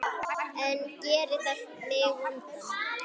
En gerir það mig vondan?